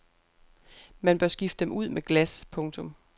Man bør skifte dem ud med glas. punktum